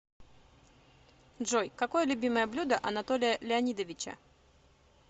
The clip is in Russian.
джой какое любимое блюдо анатолия леонидовича